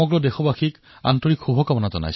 সৰ্বেষাং কৃতে মম হাৰ্দিকশুভকামনাঃ